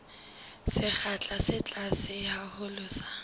sekgahla se tlase haholo sa